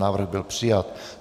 Návrh byl přijat.